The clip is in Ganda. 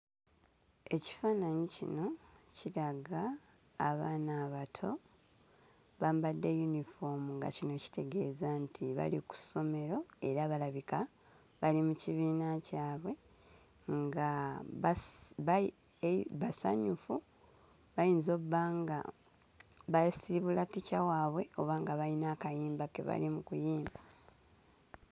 Ekifaananyi kino kiraga abaana abato, bambadde yunifoomu nga kino kitegeeza nti bali ku ssomero era balabika bali mu kibiina kyabwe nga basi bayi e basanyufu bayinza obba nga basiibula ttica waabwe oba nga bayina akayimba ke bali mu kuyimba.